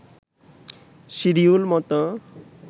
schedule মতো